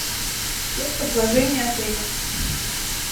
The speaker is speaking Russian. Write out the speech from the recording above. спец предложения отеля